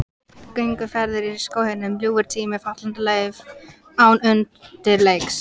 Gönguferðir í skóginum, ljúfur tími, fallandi lauf án undirleiks.